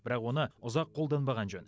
бірақ оны ұзақ қолданбаған жөн